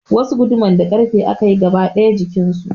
Wasu guduman na da ƙarfe aka yi gaba daya jikin su.